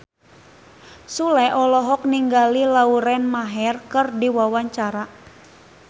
Sule olohok ningali Lauren Maher keur diwawancara